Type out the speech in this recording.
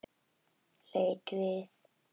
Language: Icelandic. Leit við öðru hverju.